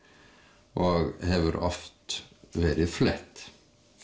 og hefur oft verið flett